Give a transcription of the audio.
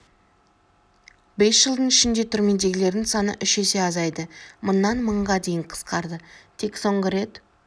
бес жылдың ішінде түрмедегілердің саны үш есе азайды мыңнан мыңға дейін қысқарды тек соңғы төрт